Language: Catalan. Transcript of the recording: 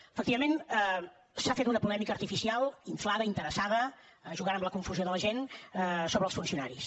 efectivament s’ha fet una polèmica artificial inflada interessada jugant amb la confusió de la gent sobre els funcionaris